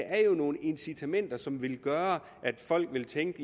er jo nogle incitamenter som vil gøre at folk vil tænke